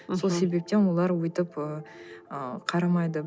сол себептен олар өйтіп ы қарамайды